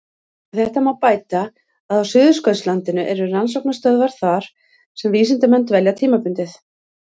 Við þetta má bæta að á Suðurskautslandinu eru rannsóknarstöðvar þar sem vísindamenn dvelja tímabundið.